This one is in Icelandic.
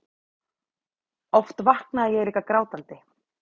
Oft vaknaði ég líka grátandi.